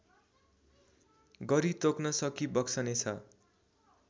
गरी तोक्न सकिबक्सनेछ